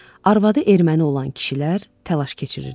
Arvadı erməni olan kişilər təlaş keçirirdilər.